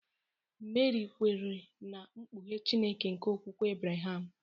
Meri kwere na mkpughe Chineke nke okwukwe Abraham.